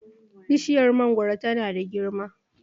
bishiyar mangoro tana da girma